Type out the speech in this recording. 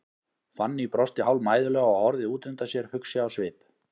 Fanný brosti hálfmæðulega og horfði út undan sér, hugsi á svip.